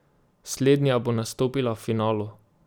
Slednja bo nastopila v finalu!